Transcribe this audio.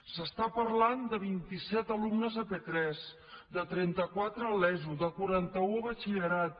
s’està parlant de vint set alumnes a p3 de trenta quatre a l’eso de quaranta un a batxillerat